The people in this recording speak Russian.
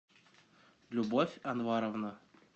любовь анваровна